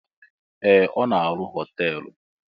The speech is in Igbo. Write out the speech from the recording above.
Ee! Ọ na-arụ họteelụ.